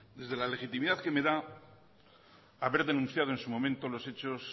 desde la legitimidad que me da haber denunciado en su momento los hechos